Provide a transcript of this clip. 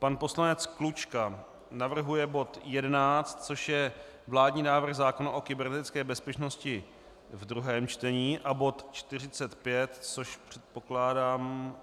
Pan poslanec Klučka navrhuje bod 11, což je vládní návrh zákona o kybernetické bezpečnosti ve druhém čtení, a bod 45, což, předpokládám...